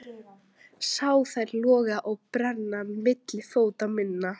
Sé þær loga og brenna milli fóta minna.